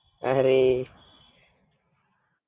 અરે